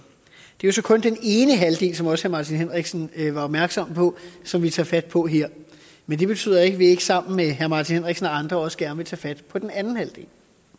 det er så kun den ene halvdel som også herre martin henriksen var opmærksom på som vi tager fat på her men det betyder ikke at vi ikke sammen med herre martin henriksen og andre også gerne vil tage fat på den anden halvdel